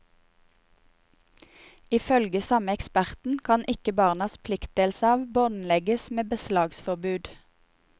Ifølge samme eksperten kan ikke barnas pliktdelsarv båndlegges med beslagsforbud.